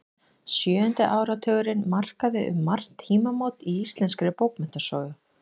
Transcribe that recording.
Sjöundi áratugurinn markaði um margt tímamót í íslenskri bókmenntasögu.